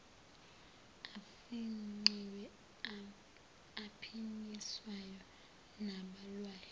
afingqiwe aphinyiswayo nabhalwayo